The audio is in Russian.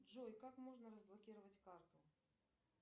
джой как можно разблокировать карту